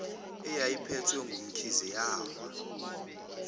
eyayiphethwe ngumamkhize yawa